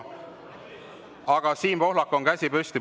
Aga Siim Pohlakul on käsi püsti.